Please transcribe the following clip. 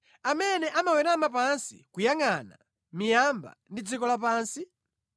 amene amawerama pansi kuyangʼana miyamba ndi dziko lapansi?